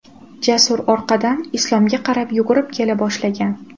Jasur orqadan Islomga qarab yugurib kela boshlagan.